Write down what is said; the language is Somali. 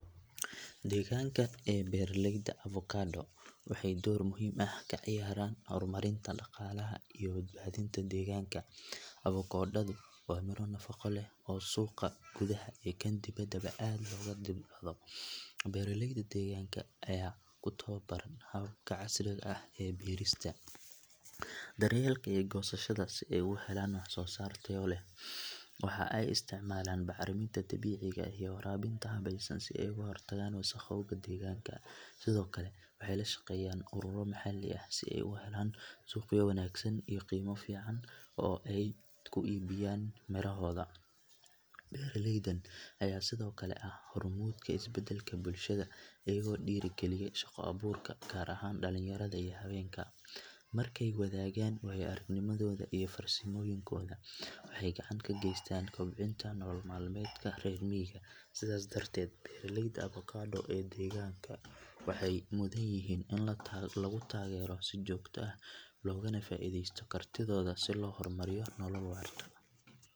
Deegaanka ee beeralayda avokado waxay door muhiim ah ka ciyaaraan horumarinta dhaqaalaha iyo badbaadinta deegaanka. Avokadadu waa midho nafaqo leh oo suuqa gudaha iyo kan dibaddaba aad looga dalbado. Beeraleyda deegaanka ayaa ku tababaran hababka casriga ah ee beerista, daryeelka iyo goosashada si ay u helaan wax soo saar tayo leh. Waxa ay isticmaalaan bacriminta dabiiciga ah iyo waraabinta habaysan si ay uga hortagaan wasakhowga deegaanka. Sidoo kale waxay la shaqeeyaan ururo maxalli ah si ay u helaan suuqyo wanaagsan iyo qiime fiican oo ay ku iibiyaan mirahooda. Beeralaydan ayaa sidoo kale ah hormuudka isbeddelka bulshada, iyagoo dhiirrigeliya shaqo-abuurka, gaar ahaan dhalinyarada iyo haweenka. Markay wadaagaan waayo-aragnimadooda iyo farsamooyinkooda, waxay gacan ka geystaan kobcinta nolol maalmeedka reer miyiga. Sidaas darteed, beeraleyda avokado ee deegaanka waxay mudan yihiin in lagu taageero si joogto ah loogana faa'iideysto kartidooda si loo horumariyo nolol waarta.